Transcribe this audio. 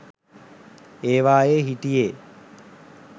ඒවායේ හිටියේ